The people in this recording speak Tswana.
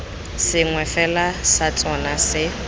sengwe fela sa tsona se